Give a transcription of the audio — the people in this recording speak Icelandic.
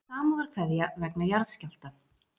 Samúðarkveðja vegna jarðskjálfta